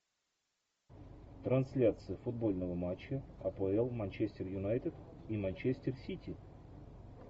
трансляция футбольного матча апл манчестер юнайтед и манчестер сити